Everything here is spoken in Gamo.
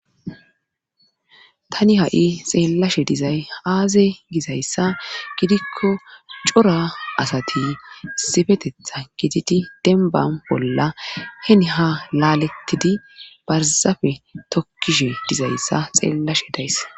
Tani ha'i xeellashe dizay aaze gizayssa gidikko cora asati issifeteththan gididi denban bolla heni haa laalettidi barzafe tokkishshe dizayssa xeellashe days